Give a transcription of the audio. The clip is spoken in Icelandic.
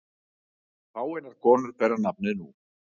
Fáeinar konur bera nafnið nú.